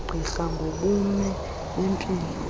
kagqirha ngobume bempilo